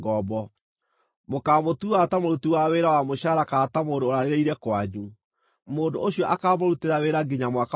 Mũkaamũtua ta mũruti wa wĩra wa mũcaara kana ta mũndũ ũrarĩrĩire kwanyu; mũndũ ũcio akaamũrutĩra wĩra nginya Mwaka wa Jubilii.